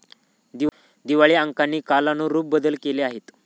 दिवाळी अंकांनी कालानुरूप बदल केले आहेत.